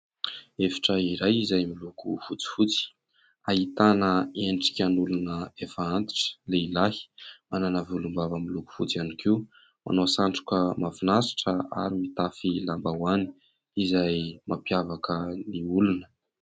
Efitra iray izay miloko fotsifotsy ahitana endrika an'olona efa antitra, lehilahy, manana volom-bava miloko fotsy ihany koa, manao satroka mahafinaritra ary mitafy lambaoany izay mampiavaka ny olona.